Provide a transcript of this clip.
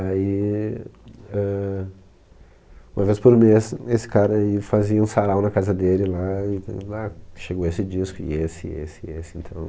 Aí, éh, uma vez por mês, esse cara aí fazia um sarau na casa dele lá, e te ah, chegou esse disco, e esse, e esse, e esse, então...